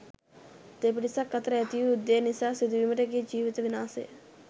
දෙපිරිසක් අතර ඇතිවූ යුද්ධය නිසා සිදුවීමට ගිය ජීවිත විනාශය